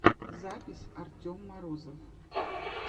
запись артем морозов